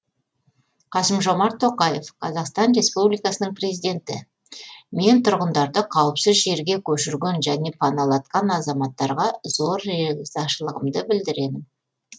қасым жомарт тоқаев қазақстан республикасының президенті мен тұрғындарды қауіпсіз жерге көшірген және паналатқан азаматтарға зор ризашылығымды білдіремін